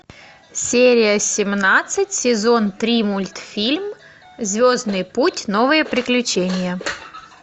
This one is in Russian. серия семнадцать сезон три мультфильм звездный путь новые приключения